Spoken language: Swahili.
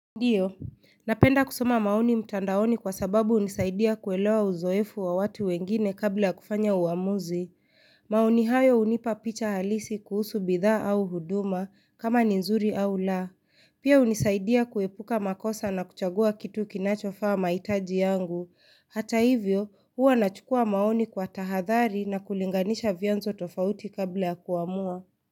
Ndiyo, napenda kusoma maoni mtandaoni kwa sababu unisaidia kuelewa uzoefu wa watu wengine kabla ya kufanya uamuzi. Maoni hayo unipa picha halisi kuhusu bidhaa au huduma kama ni nzuri au la. Pia unisaidia kuepuka makosa na kuchagua kitu kinachofaa maitaji yangu. Hata hivyo, huwa nachukua maoni kwa tahadhari na kulinganisha vyanzo tofauti kabla ya kuamua.